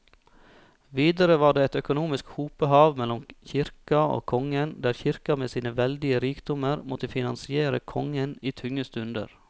Videre var det et økonomisk hopehav mellom kirka og kongen, der kirka med sine veldige rikdommer måtte finansiere kongen i tunge stunder.